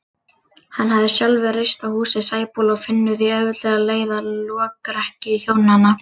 Hann hafði sjálfur reist húsið á Sæbóli og finnur því auðveldlega leið að lokrekkju hjónanna.